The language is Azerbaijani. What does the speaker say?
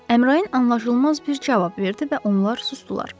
Əmrayın anlaşılmaz bir cavab verdi və onlar susdular.